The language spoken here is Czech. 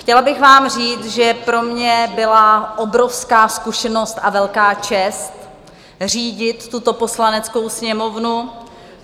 Chtěla bych vám říct, že pro mě byla obrovská zkušenost a velká čest řídit tuto Poslaneckou sněmovnu.